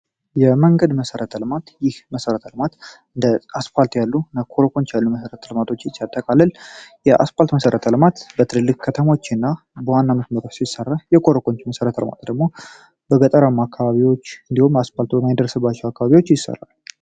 የ መንገድ መሰረተ ልማት ይህ መሰረተ ልማት አስፓልት ያለው እና ኮረኮች ያለው መሰረተ ልማቶችን ሲያጠቃልል የ አስፓልት መሰረተ ልማት በትልልቅ ከተሞች እና በዋና መስመሮች ሲሰራ የ ኮረኮች መሰረተ ልማት ደግሞ በገጠራማ አካባቢዎች edihim አስፓልት በማይደርስባቸው አካባቢዎች ይሰራል ።